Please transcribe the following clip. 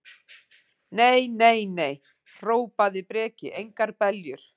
Nei, nei, nei, hrópaði Breki, engar beljur.